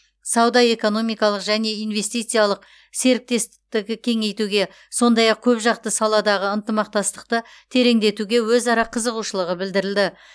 сауда экономикалық және инвестициялық серіктестікті кеңейтуге сондай ақ көпжақты саладағы ынтымақтастықты тереңдетуге өзара қызығушылығы білдірілді